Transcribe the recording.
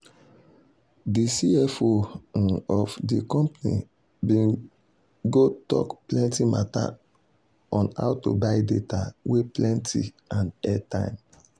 de cfo um of de company bin go tok plenty mata on how to buy data wey plenty and airtime.